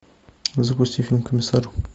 запусти фильм комиссар